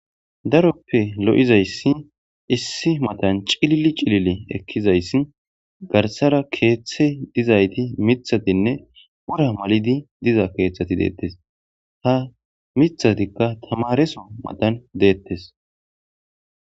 daroppe lo7izayssi issi matan cilili cilile ekkizayssi garsara keeththe dizayti mithatinne ora mal7idi diza keeththati deettes ha mithatikka tamareso matan deettes